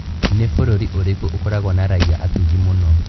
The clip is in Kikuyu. Nĩ bũrũri ũrĩkũ ukoragwo na raia atugi mũno?